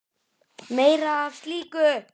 Meira af slíku!